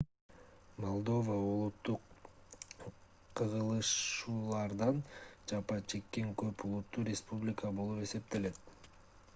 молдова улуттук кагылышуулардан жапа чеккен көп улуттуу республика болуп эсептелет